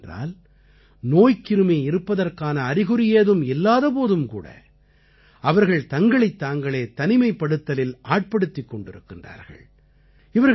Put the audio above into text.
எந்த அளவுக்கு என்றால் நோய்க்கிருமி இருப்பதற்கான அறிகுறி ஏதும் இல்லாத போதும் கூட அவர்கள் தங்களைத் தாங்களே தனிமைப்படுத்தலில் ஆட்படுத்திக் கொண்டிருக்கிறார்கள்